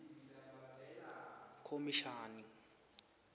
khomishani